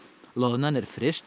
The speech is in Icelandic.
loðnan er fryst